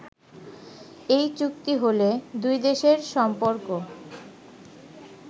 এ চুক্তি হলে দুইদেশের সম্পর্ক